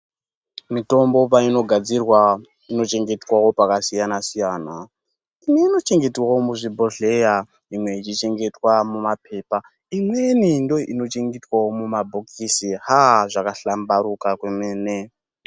Mitombo painogadzirwa inochengetwavo pakasiyana-siyana, imwe inochengetwavo muzvibhodhleya. imwe ichichengetwa muma pepa. Imweni ndoinochengetwavo mumabhokisi aa zvakahlambaruka kwemene.